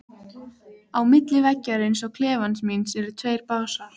Á milli veggjarins og klefans míns eru tveir básar.